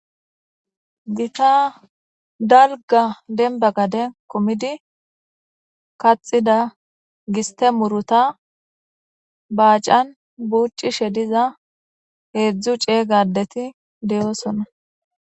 Gita daliga denba gade kumidi kaxida giste muruta bacan bucishe diza heedzdzu cega addeti deosona.